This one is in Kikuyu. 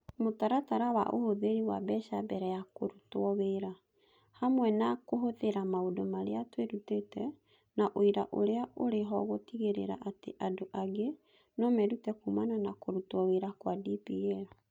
Mũtaratara wa ũhũthĩri wa mbeca mbere ya kũrutwo wĩra, hamwe na kũhũthĩra maũndũ marĩa twĩrutĩte na ũira ũrĩa ũrĩ ho gũtigĩrĩra atĩ andũ angĩ no merute kuumana na kũrutwo wĩra kwa DPL.